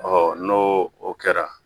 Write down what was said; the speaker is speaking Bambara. n'o o kɛra